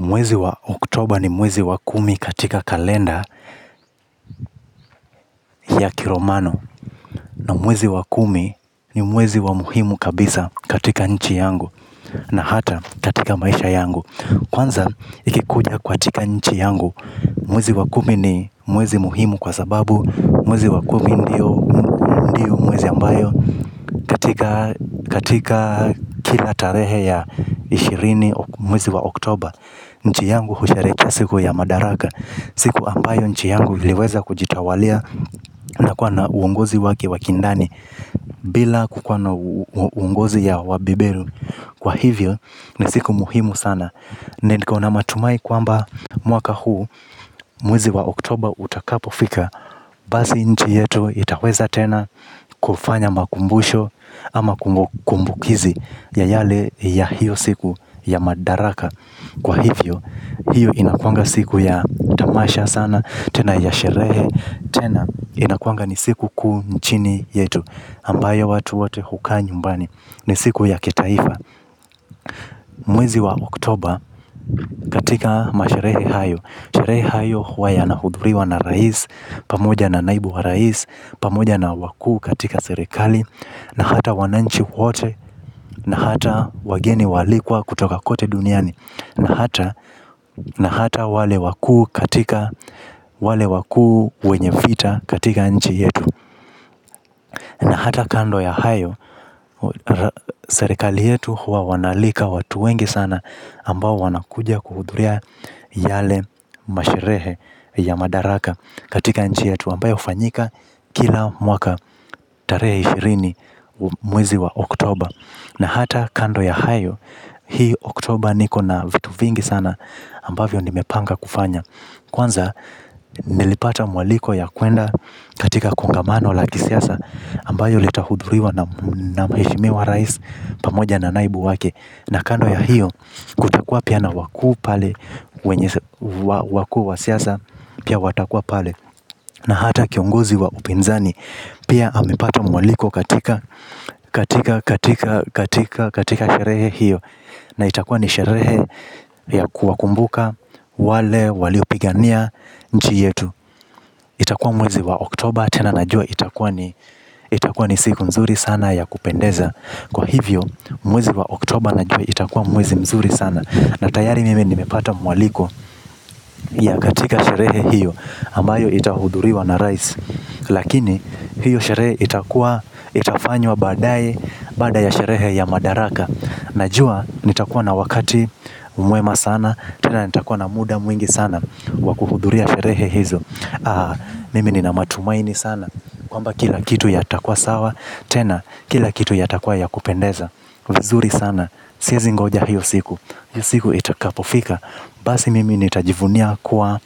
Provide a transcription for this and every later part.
Mwezi wa oktober ni mwezi wa kumi katika kalenda ya kilomano. Na mwezi wa kumi ni mwezi wa muhimu kabisa katika nchi yangu. Na hata katika maisha yangu. Kwanza ikikuja kwa tika nchi yangu. Mwezi wa kumi ni mwezi muhimu kwa sababu mwezi wa kumi ndio mwezi ambayo katika katika kila tarehe ya ishirini mwezi wa oktober. Nchi yangu husherehekea siku ya madaraka. Siku ambayo nchi yangu iliweza kujitawalia na kua na uongozi wake wa kindani. Bila kukuwa na uongozi ya wabeberu. Kwa hivyo ni siku muhimu sana. Nenko na mamatumai kwamba mwaka huu mwezi wa oktober utakapofika basi nchi yetu itaweza tena kufanya makumbusho ama kumbukizi ya yale ya hiyo siku ya madaraka kwa hivyo hiyo inakuwanga siku ya tamasha sana tena ya sherehe tena inakuwanga ni siku kuu nchini yetu ambayo watu wote hukaa nyumbani ni siku ya kitaifa. Mwezi wa oktober katika masherehe hayo sherehe hayo huayana hudhuriwa na rais, pamoja na naibu wa rais, pamoja na wakuu katika serekali. Na hata wananchi wote, na hata wageni waalikwa kutoka kote duniani. Na hata, na hata wale wakuu katika, wale wakuu wenye vita katika nchi yetu. Na hata kando ya hayo, serikali yetu huwa wanaalika watu wengi sana ambao wanakuja kuhudhuria yale masherehe ya madaraka katika nchi yetu ambayo hufanyika kila mwaka tarehe ishirini mwezi wa oktober. Na hata kando ya hayo, hii oktober niko na vitu vingi sana ambavyo nimepanga kufanya. Kwanza, nilipata mwaliko ya kuenda katika kongamano la kisiasa ambayo litahudhuriwa na mhemishimiwa rais pamoja na naibu wake. Na kando ya hiyo, kutakua pia na wakuu pale, wenye wakuu wa siasa, pia watakua pale. Na hata kiongozi wa upinzani pia amepata mwaliko katika katika, katika, katika, katika sherehe hiyo. Na itakuwa ni sherehe ya kuwa kumbuka. Wale, waliopigania, nchi yetu. Itakuwa mwezi wa oktober tena najua itakuwa ni itakuwa ni siku nzuri sana ya kupendeza. Kwa hivyo, mwezi wa oktober najua itakuwa mwezi mzuri sana. Na tayari mimi nimepata mwaliko ya katika sherehe hiyo ambayo itahudhuriwa na rais. Lakini hiyo sherehe itakua itafanywa baadaye. Baada ya sherehe ya madaraka najua nitakuwa na wakati mwema sana tena nitakuwa na muda mwingi sana wakuhudhuria sherehe hizo. Mimi ni na matumaini sana kwamba kila kitu ya takua sawa. Tena kila kitu ya takua ya kupendeza. Vizuri sana. Sie zingoja hiyo siku. Hiyo siku itakapofika basi mimi nitajivunia kuwa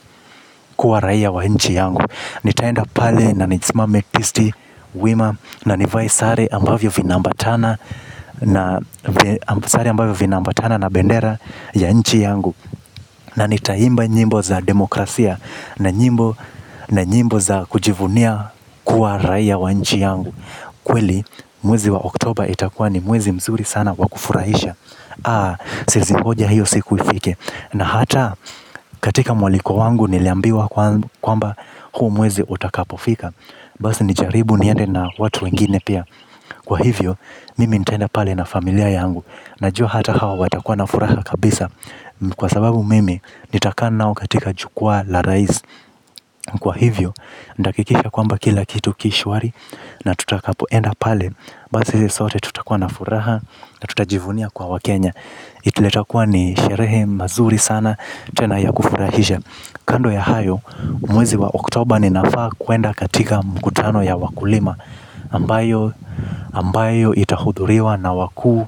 kuwa raia wa nchi yangu nitaenda pale na nisimame tisti wima na nivae sare ambayo vinaambatana na sare ambavyo vinaambatana na bendera ya nchi yangu. Na nitaimba nyimbo za demokrasia na nyimbo na nyimbo za kujivunia kuwa raia wa nchi yangu. Kweli mwezi wa oktober itakua ni mwezi mzuri sana wakufurahisha. Aa, siezingoja hiyo siku ifike. Na hata katika mwaliko wangu niliambiwa kwamba huu mwezi utakapofika basi nijaribu niende na watu wengine pia. Kwa hivyo mimi nitaenda pale na familia yangu. Najua hata hao watakua na furaha kabisa. Kwa sababu mimi nitakaa nao katika jukwaa la rais. Kwa hivyo ndakikisha kwamba kila kitu kishwari. Na tutakapoenda pale basi sote tutakua na furaha na tutajivunia kuwa wakenya juu yatakua ni sherehe mazuri sana. Tena ya kufurahisha kando ya hayo mwezi wa oktober ninafaa kuenda katika mkutano ya wakulima ambayo ambayo itahudhuriwa na wakuu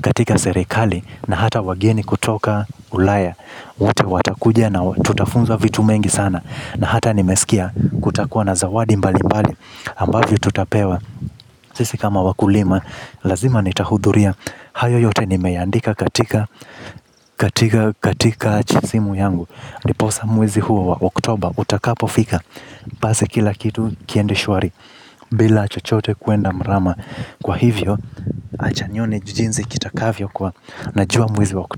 katika serekali. Na hata wageni kutoka ulaya wote watakuja na tutafunzwa vitu mengi sana. Na hata nimeskia kutakuwa na zawadi mbali mbali ambavyo tutapewa. Sisi kama wakulima lazima nitahudhuria. Hayo yote nimeiandika katika katika katika jisimu yangu ndiposa mwezi huo wa oktober utakapo fika basi kila kitu kiende shwari. Bila chochote kuenda mrama. Kwa hivyo acha nione jujinzi kitakavyo kuwa najua mwezi wa oktober.